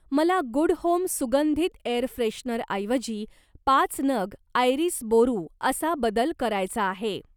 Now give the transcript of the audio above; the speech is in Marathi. मला गुड होम सुगंधित एअर फ्रेशनरऐवजी पाच नग आयरीस बोरू असा बदल करायचा आहे.